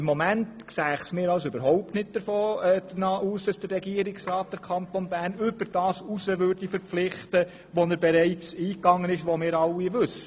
Im Moment sieht es für mich überhaupt nicht danach aus, dass der Regierungsrat den Kanton Bern über das hinaus verpflichten würde, was er bereits eingegangen ist und das wir alle kennen.